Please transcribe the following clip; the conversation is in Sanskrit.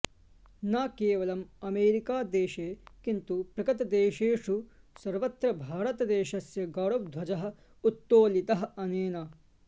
न केवलममेरिकादेशे किन्तु प्रगतदेशेषु सर्वत्र भारतदेशस्य गौरवध्वजः उत्तोलितः अनेन